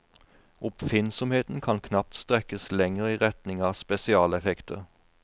Oppfinnsomheten kan knapt strekkes lenger i retning av spesialeffekter.